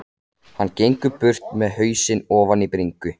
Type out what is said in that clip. Hann gengur burt með hausinn ofan í bringu.